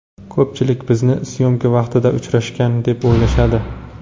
Ko‘pchilik bizni syomka vaqtida uchrashgan, deb o‘ylashadi.